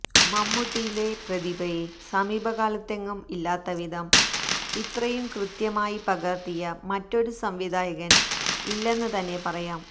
മമ്മൂട്ടിയിലെ പ്രതിഭയെ സമീപകാലത്തെങ്ങും ഇല്ലാത്തവിധം ഇത്രയും കൃത്യമായി പകർത്തിയ മറ്റൊരു സംവിധാനയകൻ ഇല്ലെന്ന് തന്നെ പറയാം